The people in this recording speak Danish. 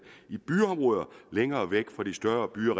i byområder længere væk fra de større byer